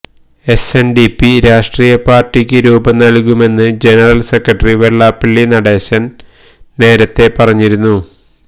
S N D P രാഷ്ട്രീയ പാര്ട്ടിക്ക് രൂപം നല്കുമെന്ന് ജനറല് സെക്രട്ടറി വെള്ളാപ്പള്ളി നടേശന് നേരത്തെ പറഞ്ഞിരുന്നു